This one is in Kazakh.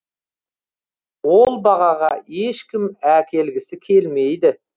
ол бағаға ешкім әкелгісі келмейді